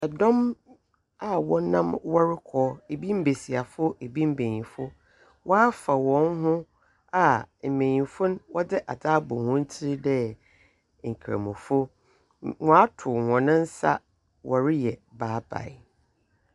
Ɛdom wɔnam wɔrekɔ ebi mmieseɛfo ebi mmienamfo wafa wɔn ho a mmienimfo wode adaɛ abo wɔn tire deɛ nkramofo wato wɔn nsa wɔre yɛ bye bye.